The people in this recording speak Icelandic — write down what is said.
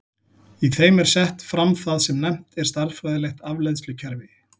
Í þeim er sett fram það sem nefnt er stærðfræðilegt afleiðslukerfi.